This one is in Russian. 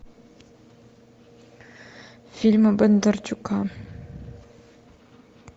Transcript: фильмы бондарчука